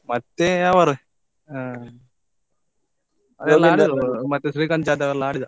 ಮತ್ತೆ ಅವರೇ ಅಹ್ ಮತ್ತೆ ಶ್ರೀಕಾಂತ್ ಜಾದವ್ ಎಲ್ಲ ಆಡಿದ.